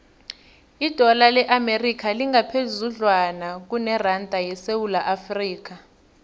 idola le amerika lingaphezudlwana kuneranda yesewula afrika